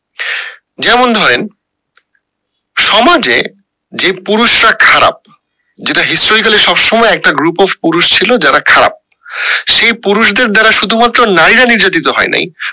যেমন ধরেন সমাজে যে পুরুষরা খারাপ যেটা historically সব সময় একটা group of পুরুষ ছিল যারা খারাপ সেই পুরুষদের দ্বারা শুধু মাত্র নারীরা নির্যাতিত হয়নাই